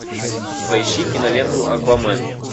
поищи киноленту аквамен